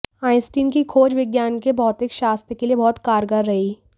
Einstein की खोज विज्ञान के भौतिक शास्त्र के लिए बहुत कारगर रही